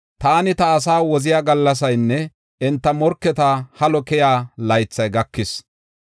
Taani ta asaa woziya gallasaynne enta morketa halo keyiya laythay gakis.